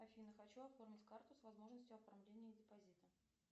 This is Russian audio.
афина хочу оформить карту с возможностью оформления депозита